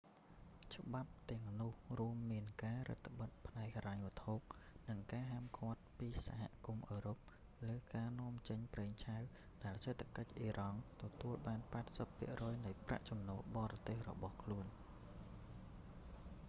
ច្បាប់ទាំងនោះ រួមមានការរឹតត្បិតផ្នែកហិរញ្ញវត្ថុ និងការហាមឃាត់ពីសហគមន៍អ៊ឺរ៉ុបលើការនាំចេញប្រេងឆៅ ដែលសេដ្ឋកិច្ចអ៊ីរ៉ង់ទទួលបាន 80% នៃប្រាក់ចំណូលបរទេសរបស់ខ្លួន